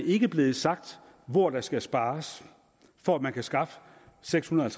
ikke er blevet sagt hvor der skal spares for at man kan skaffe seks hundrede og